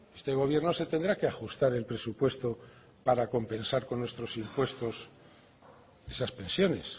este gobierno se tendrá que ajustar el presupuesto para compensar con nuestros impuestos esas pensiones